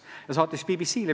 Ja nii saadeti see BBC-ile.